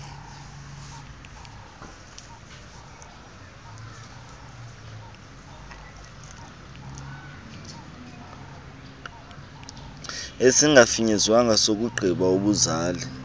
esingafinyezwanga sokungqina ubuzali